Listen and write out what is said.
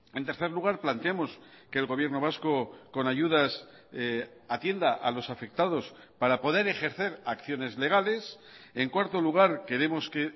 en tercer lugar planteamos que el gobierno vasco con ayudas atienda a los afectados para poder ejercer acciones legales en cuarto lugar queremos que